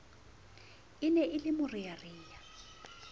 e ne e le morearea